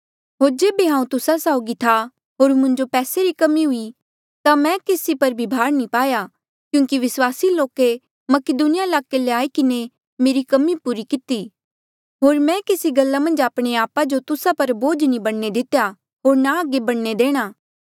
होर जेबे हांऊँ तुस्सा साउगी था होर मुंजो पैसे री कमी हुई ता मैं केसी पर भार नी पाया क्यूंकि विस्वासी लोके मकीदुनिया ईलाके ले आई किन्हें मेरी कमी पूरी किती होर मैं केसी गल्ला मन्झ आपणे आपा जो तुस्सा पर बोझ नी बणने दितेया होर ना आगे बणने देणा